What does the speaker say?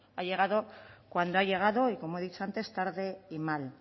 ha llegado cuando ha llegado y como he dicho antes tarde y mal